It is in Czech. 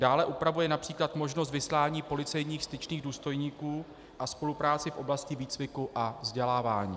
Dále upravuje například možnost vyslání policejních styčných důstojníků a spolupráci v oblasti výcviku a vzdělávání.